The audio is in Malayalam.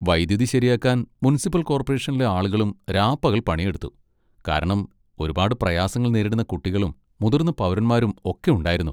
വൈദ്യുതി ശരിയാക്കാൻ മുൻസിപ്പൽ കോർപ്പറേഷനിലെ ആളുകളും രാപ്പകൽ പണിയെടുത്തു, കാരണം ഒരുപാട് പ്രയാസങ്ങൾ നേരിടുന്ന കുട്ടികളും മുതിർന്ന പൗരന്മാരും ഒക്കെ ഉണ്ടായിരുന്നു.